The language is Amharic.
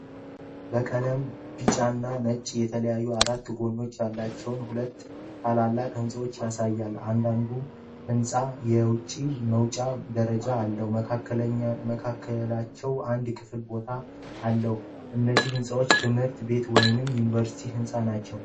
በቀለም ቢጫና ነጭ የተለያዩ አራት ጎኖች ያላቸው ሁለት ታላላቅ ሕንፃዎችን ያሳያል። እያንዳንዱ ሕንፃ የውጭ መውጫ ደረጃ አለው። በመካከላቸውም አንድ ክፍት ቦታ አለ። እነዚህ ሕንፃዎች ትምህርት ቤት ወይም የዩኒቨርሲቲ ሕንፃ ናቸው።